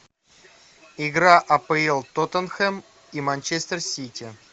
игра апл тоттенхэм и манчестер сити